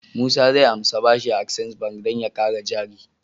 Musa zai anshi bashi a access bank dan ya kara jari